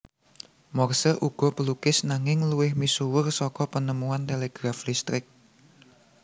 Morse uga pelukis nanging luwih misuwur saka penemuan telegraf listrik